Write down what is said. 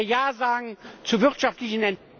Wenn wir Ja sagen zur wirtschaftlichen